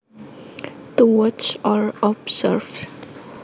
To watch or observe